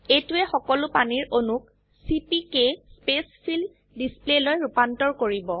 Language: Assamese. এইটোৱে সকলো পানীৰ অনুক চিপিকে স্পেইচফিল ডিসপ্লেলৈ ৰুপান্তৰ কৰিব